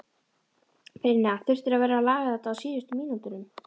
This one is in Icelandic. Brynja: Þurftirðu að vera að laga þetta á síðustu mínútunum?